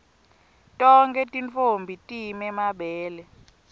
tonkhe tintfombi time mabele